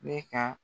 Ne ka